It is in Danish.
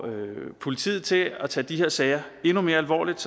politiet til at tage de her sager endnu mere alvorligt